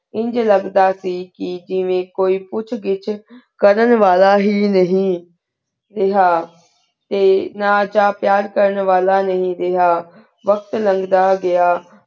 ਇੰਜ ਲਘਦਾ ਸੀ ਕੀ ਕੋਈ ਪੁਕ੍ਹ ਘਿਚ ਕਰਨ ਵਾਲਾ ਹੇਇ ਨਹੀ ਰਾਹ ਟੀ ਨਾਲ ਚ ਪੇਯਰ ਕਰਨ ਵਾਲਾ ਨੀ ਰਿਹਾ ਵਕ਼ਤ ਲੰਘ ਦਾ ਗਇਆ